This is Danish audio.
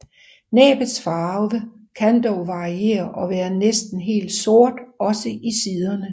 Næbbets farve kan dog variere og være næsten helt sort også i siderne